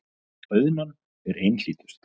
Auðnan er einhlítust.